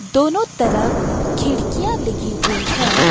दोनों तरफ खिड़कियां लगी हुई है।